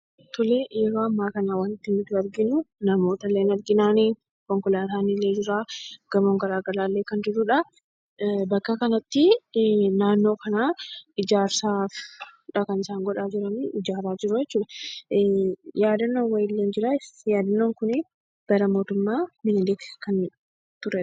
Yeroo ammaa kana wanti nuti arginu namoota ni argina. Konkolaataan illee jira. Gamoon garaagaraa illee kan jirudha. Bakka kanatti naannoo kana ijaarsaadha kan isaan godhaa jiranii; ijaaraa jiruu jechuudha. Yaadannoon wayiillee ni jiraa yaadannoon kun bara mootummaa minilik kan turedha.